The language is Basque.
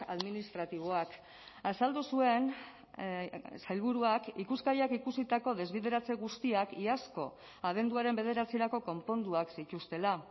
administratiboak azaldu zuen sailburuak ikuskariak ikusitako desbideratze guztiak iazko abenduaren bederatzirako konponduak zituztela